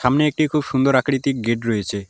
সামনে একটি খুব সুন্দর আকৃতির গেট রয়েছে।।